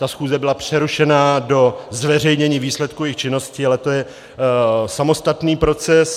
Ta schůze byla přerušena do zveřejnění výsledku jejich činnosti, ale to je samostatný proces.